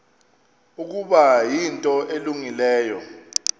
ukuba yinto elungileyo